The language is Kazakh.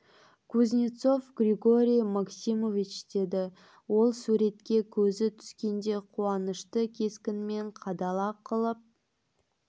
кузнецов григорий максимович деді ол суретке көзі түскенде қуанышты кескінмен қадала қалып